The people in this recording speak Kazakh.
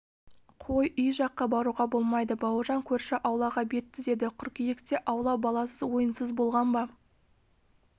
қой үй жаққа баруға болмайды бауыржан көрші аулаға бет түзеді қыркүйекте аула баласыз ойынсыз болған ба